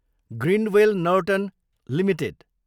Grindwell Norton Ltd